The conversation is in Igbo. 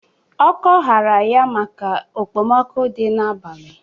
Ọkọ hara ya maka ekpemoku dịrị na abalị.